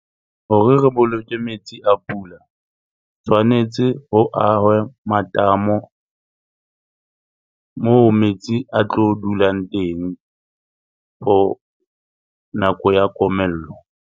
Hore re boloke metsi a pula tshwanetse ho ahwe matamo moo metsi a tlo dulang teng for nako ya komello.